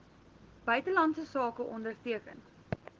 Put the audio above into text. buitelandse sake onderteken